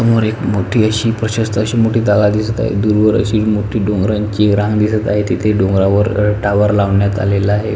समोर एक मोठी अशी एक प्रशसत अशी मोठी दगा दिसत आहे दुर वर अशी मोठी डोंगरांची रांग दिसत आहे तेथे डोंगरावर अ टावर लावण्यात आलेला आहे.